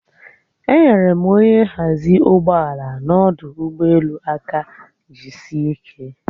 Enyere m onye nhazi ụgbọala n'ọdụ ụgbọelu aka jiisie ike